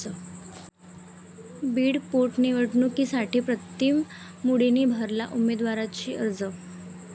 बीड पोटनिवडणुकीसाठी प्रीतम मुंडेंनी भरला उमेदवारी अर्ज